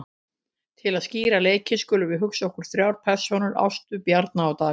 Til að skýra leikinn skulum við hugsa okkur þrjár persónur, Ástu, Bjarna og Davíð.